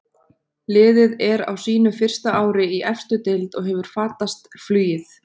Liðið er á sínu fyrsta ári í efstu deild og hefur fatast flugið.